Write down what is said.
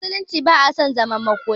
A musulunci ba a son yin zaman makoki